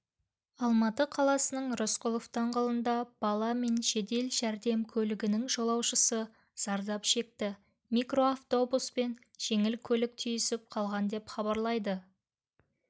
алматы қаласының рысқұлов даңғылында бала мен жедел жәрдем көлігінің жолаушысы зардап шекті микроавтобус пен жеңіл көлік түйісіп қалған деп хабарлайды